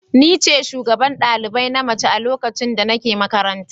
Ni ce shugaban ɗalibai na mace a lokacin da nake makaranta.